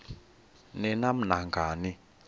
ni nam nangani